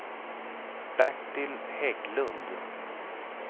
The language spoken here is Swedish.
Bertil Hägglund